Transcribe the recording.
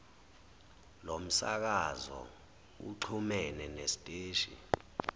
lomsakazo uxhumene nesiteshi